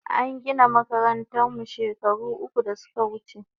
An gina makarantan mu shekaru uku da suka wuche